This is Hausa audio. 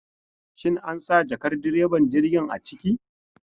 Shin ansa jakar direban jirgin a ciki?